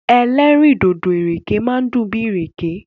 Ẹlẹ́rìndòdò ìrèké máa dùn bíi ìrèké.